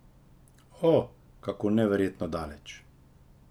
O, kako neverjetno daleč.